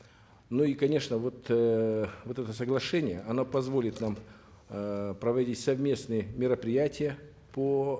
но и конечно вот эээ вот это соглашение оно позволит нам эээ проводить совместные мероприятия по